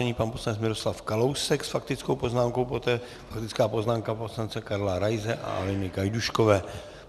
Nyní pan poslanec Miroslav Kalousek s faktickou poznámkou, poté faktická poznámka poslance Karla Raise a Aleny Gajdůškové.